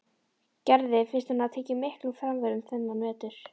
Gerði finnst hún hafa tekið miklum framförum þennan vetur.